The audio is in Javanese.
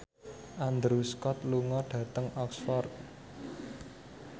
Andrew Scott lunga dhateng Oxford